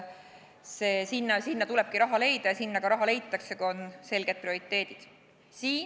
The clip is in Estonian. Sinna tulebki raha leida ja sinna ka raha leitakse, kui on selged prioriteedid.